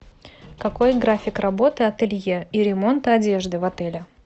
какой график работы ателье и ремонта одежды в отеле